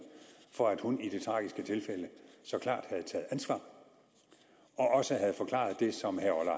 for at hun i det tragiske tilfælde så klart havde taget ansvar og også havde forklaret det som herre